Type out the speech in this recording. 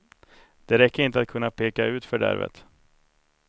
Det räcker inte att kunna peka ut fördärvet.